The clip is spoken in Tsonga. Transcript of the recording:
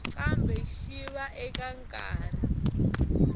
kambe xi va eka nkarhi